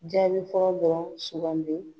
Jaabi fɔlɔ dɔrɔn sugandi .